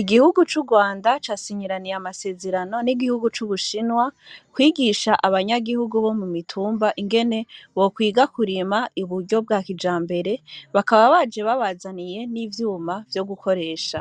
Igihugu c'urwanda ca sinyiraniye amasezerano n'igihugu c'ubushinwa kwigisha abanyagihugu bo mu mitumba ingene bokwiga kurima iburyo bwa kija mbere bakaba baje babazaniye n'ivyuma vyo gukoresha